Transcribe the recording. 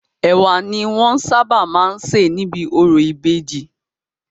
Ẹ̀wà ni wọ́n sábà má ń sė níbi orò ìbejì.